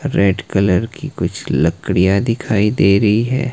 Red colour की कुछ लकड़िया दिखाई दे रही है।